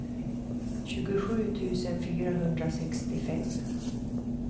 tjugosju tusen fyrahundrasextiofem